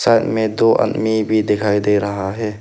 Side में दो आदमी भी दिखाई दे रहा है।